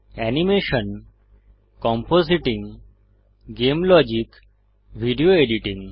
animation compositing game logic video editing